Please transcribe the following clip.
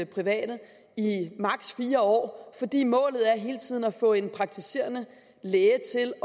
private i år fordi målet hele tiden er at få en praktiserende læge til at